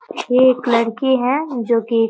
ये एक लड़की है जो की --